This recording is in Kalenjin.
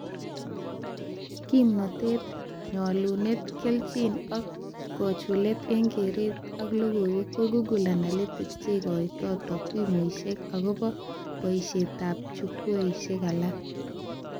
Kimnatet ,nyalunet, kelchin ak kochulet eng keret ak loigoiwek ko Google Analytic cheikotoi takwimuishe akobo boishetab chukwishek alak